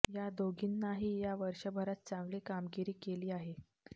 या दोघींनाही या वर्षभरात चांगली कामगिरी केली आहे